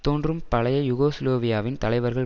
தோன்றும் பழைய யூகோஸ்லாவியாவின் தலைவர்களின்